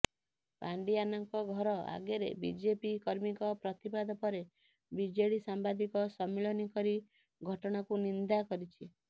ପାଣ୍ଡିଆନଙ୍କ ଘର ଆଗରେ ବିଜେପି କର୍ମୀଙ୍କ ପ୍ରତିବାଦ ପରେ ବିଜେଡି ସାମ୍ବାଦିକ ସମ୍ମିଳନୀ କରି ଘଟଣାକୁ ନିନ୍ଦା କରିଛି